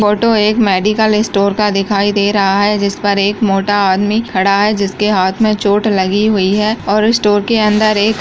photo एक medical store का दिखाई दे रहा है जिस पर एक मोटा आदमी खड़ा है जिसके हाथ में चोट लगी हुई है और स्टोर के अंदर एक --